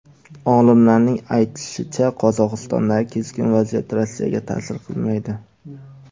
Olimlarning aytishicha, Qozog‘istondagi keskin vaziyat Rossiyaga ta’sir qilmaydi.